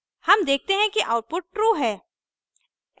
हम देखते हैं कि output true है